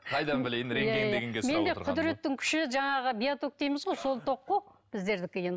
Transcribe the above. қайдан білейін рентген дегенге сұрап менде құдіреттің күші жаңағы биоток дейміз ғой сол ток қой біздердікі